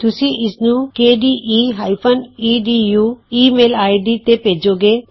ਤੁਸੀਂ ਇਸਨੂੰ K D E E D U email I D ਤੇ ਭੇਜੋਂਗੇ